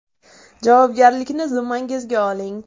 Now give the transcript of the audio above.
Javobgarlikni zimmangizga oling.